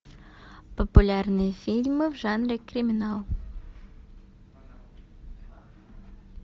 популярные фильмы в жанре криминал